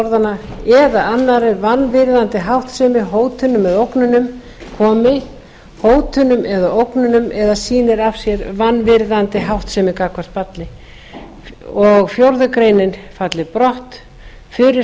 orðanna eða annarri vanvirðandi háttsemi hótunum eða ógnunum komi hótunum eða ógnunum eða sýnir af sér aðra vanvirðandi háttsemi gagnvart barni þriðja við fjórðu grein greinin falli brott fjórða